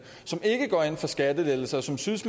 som ikke går ind for skattelettelser og som synes